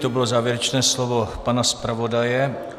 To bylo závěrečné slovo pana zpravodaje.